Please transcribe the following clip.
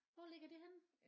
Hvor ligger det henne?